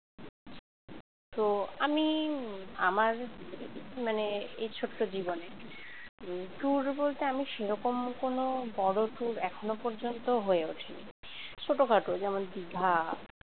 তো আমি আমার মানে এই ছোট্ট জীবনে tour বলতে আমি সেরকম কোন বড় tour এখনো পর্যন্ত হয়ে ওঠেনি ছোটখাটো যেমন দিঘা।